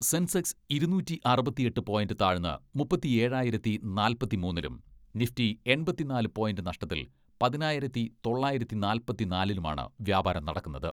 Sensex ഇരുനൂറ്റി അറുപത്തിയെട്ട് point താഴ്ന്ന് മുപ്പത്തിയേഴായിരത്തി നാൽപ്പത്തിമൂന്നിലും നിഫ്റ്റി എൺപത്തിനാല് പോയിന്റ് നഷ്ടത്തിൽ പതിനായിരത്തി തൊള്ളായിരത്തി നാല്പത്തിനാലിലുമാണ് വ്യാപാരം നടക്കുന്നത്.